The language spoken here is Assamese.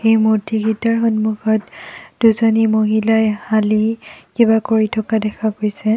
এই মূৰ্ত্তিকেইটাৰ সন্মুখত দুজনী মহিলাই হালি কিবা কৰি থকা দেখা গৈছে।